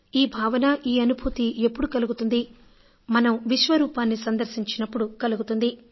ఈ భావన ఈ అనుభూతి ఎప్పుడు కలుగుతుంది మనం విశ్వరూపాన్ని సందర్శించినప్పుడు కలుగుతుంది